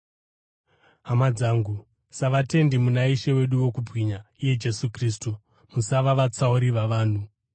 Hama dzangu, savatendi muna Ishe wedu wokubwinya iye Jesu Kristu, musava vatsauri vavanhu.